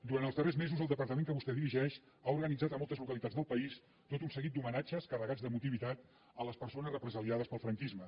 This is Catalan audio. durant els darrers mesos el departament que vostè dirigeix ha organitzat a moltes localitats del país tot un seguit d’homenatges carregats d’emotivitat a les persones represaliades pel franquisme